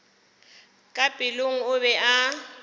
ka pelong o be a